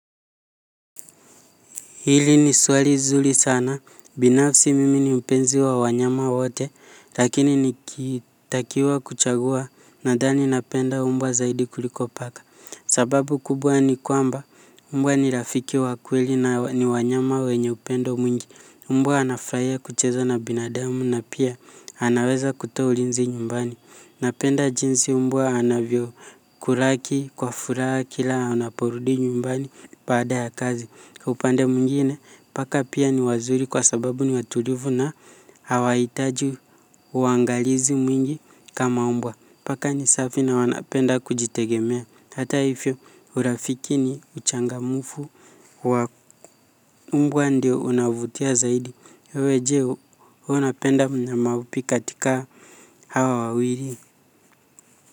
Hili ni swali zuri sana, binafsi mimi ni mpenzi wa wanyama wote, lakini nikitakiwa kuchagua nadhani napenda mbwa zaidi kuliko paka. Sababu kubwa ni kwamba, mbwa ni rafiki wa kweli na ni wanyama wenye upendo mwingi. Mbwa anafurahia kucheza na binadamu na pia anaweza kutoa ulinzi nyumbani. Napenda jinsi mbwa anavyokulaki kwa furaha kila anaporudi nyumbani baada ya kazi. Kwa upande mwingine, paka pia ni wazuri kwa sababu ni watulivu na hawahitaji uangalizi mwingi kama mbwa. Paka ni safi na wanapenda kujitegemea. Hata hivyo urafiki ni uchangamfu, kwa mbwa ndio unavutia zaidi. Wewe je, unapenda mnyama upi katika hawa wawili.